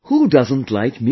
Who does not like music